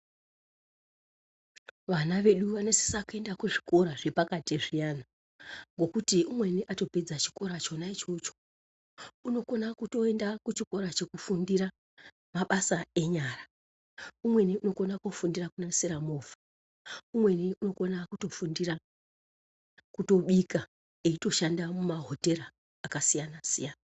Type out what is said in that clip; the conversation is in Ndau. Vana vedu vanosisa kuenda kuzvikora zvepakati zviyana, ngekuti umweni atopedza chikora chona ichocho, unokona kutoenda kuchikora chekufundira mabasa enyara. Umweni unokona kufundira kunasira movha. Umweni unokona kutofundira kutobika eitoshanda mumahotera akasiyana-siyana.